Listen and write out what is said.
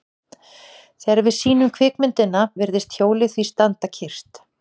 Þegar við sýnum kvikmyndina virðist hjólið því standa kyrrt.